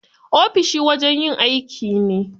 Ofishi wajen yin aiki ne.